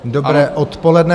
Dobré odpoledne.